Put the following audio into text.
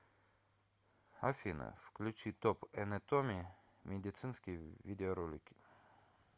афина включи топ энетоми медицинские видеоролики